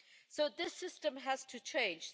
So this system has to change.